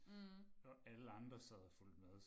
Og alle andre sad og fulgte med